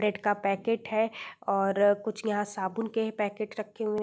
bread का packet है और कुछ यहाँ साबुन के पैकेट रखे हुए --